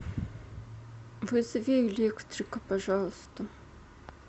вызови электрика пожалуйста